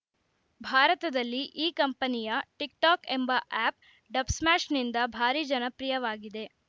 ಭಾರತದಲ್ಲಿ ಈ ಕಂಪನಿಯ ಟಿಕ್‌ಟಾಕ್‌ ಎಂಬ ಆ್ಯಪ್‌ ಡಬ್‌ಸ್ಮಾ್ಯಶ್‌ನಿಂದ ಭಾರಿ ಜನಪ್ರಿಯವಾಗಿದೆ